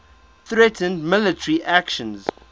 threatened military actions